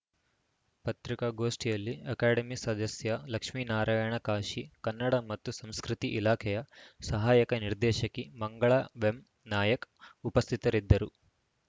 ಪತ್ರಿಕಾಗೋಷ್ಠಿಯಲ್ಲಿ ಅಕಾಡೆಮಿ ಸದಸ್ಯ ಲಕ್ಷ್ಮೀನಾರಾಯಣ ಕಾಶಿ ಕನ್ನಡ ಮತ್ತು ಸಂಸ್ಕೃತಿ ಇಲಾಖೆಯ ಸಹಾಯಕ ನಿರ್ದೇಶಕಿ ಮಂಗಳಾ ವೆಂನಾಯಕ್‌ ಉಪಸ್ಥಿತರಿದ್ದರು